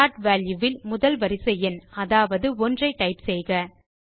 start value ல் முதல் வரிசை எண் அதாவது 1 ஐ டைப் செய்யலாம்